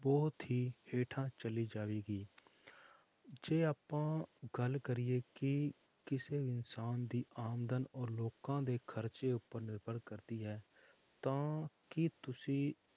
ਬਹੁਤ ਹੀ ਹੇਠਾਂ ਚਲੀ ਜਾਵੇਗੀ ਜੇ ਆਪਾਂ ਗੱਲ ਕਰੀਏ ਕਿ ਕਿਸੇ ਇਨਸਾਨ ਦੀ ਆਮਦਨ ਔਰ ਲੋਕਾਂ ਦੇ ਖਰਚੇ ਉੱਪਰ ਨਿਰਭਰ ਕਰਦੀ ਹੈ, ਤਾਂ ਕੀ ਤੁਸੀਂ